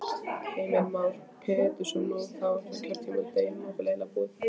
Heimir Már Pétursson: Nú, þá er kjörtímabilið eiginlega búið?